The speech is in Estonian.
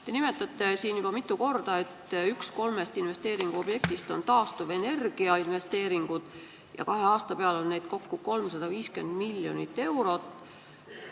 Te nimetasite mitu korda, et üks kolmest investeeringuobjektist on taastuvenergia investeeringud ja kahe aasta peale kokku on neid 350 miljonit eurot.